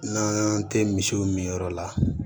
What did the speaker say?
N'an tɛ misiw min yɔrɔ la